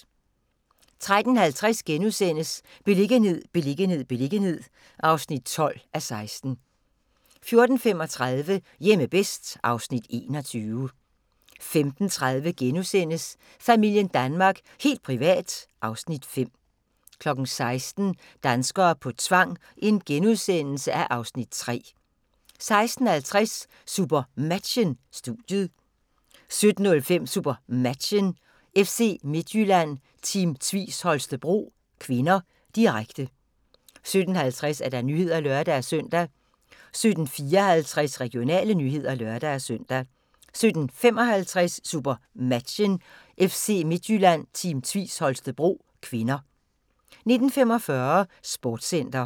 13:50: Beliggenhed, beliggenhed, beliggenhed (12:16)* 14:35: Hjemme bedst (Afs. 21) 15:30: Familien Danmark – helt privat (Afs. 5)* 16:00: Danskere på tvang (Afs. 3)* 16:50: SuperMatchen: Studiet 17:05: SuperMatchen: FC Midtjylland-Team Tvis Holstebro (k), direkte 17:50: Nyhederne (lør-søn) 17:54: Regionale nyheder (lør-søn) 17:55: SuperMatchen: FC Midtjylland-Team Tvis Holstebro (k) 19:45: Sportscenter